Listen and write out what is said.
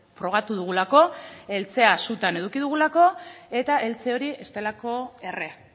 frogatu dugulako eltzea sutan eduki dugulako eta eltze hori ez delako erre